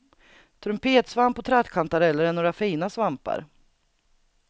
Trumpetsvamp och trattkantareller är några fina svampar.